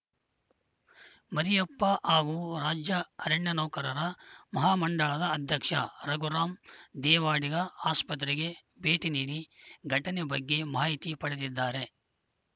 ಮರಿಯಪ್ಪ ಹಾಗೂ ರಾಜ್ಯ ಅರಣ್ಯ ನೌಕರರ ಮಹಾಮಂಡಳದ ಅಧ್ಯಕ್ಷ ರಘುರಾಮ್‌ ದೇವಾಡಿಗ ಆಸ್ಪತ್ರೆಗೆ ಭೇಟಿ ನೀಡಿ ಘಟನೆ ಬಗ್ಗೆ ಮಾಹಿತಿ ಪಡೆದಿದ್ದಾರೆ